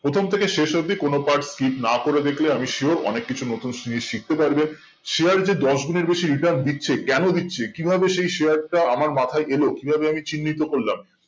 প্রথম থেকে শেষ অবদি কোনো পাঠ skip না করে দেখলে আমি sure অনেক কিছু নতুন জিনিস শিখতে পারবে share রে যে দশ গুনের বেশি return দিচ্ছে কেনো দিচ্ছে কিভাবে সেই share টা আমার মাথায় এলো কি ভাবে আমি চিহ্নত করলাম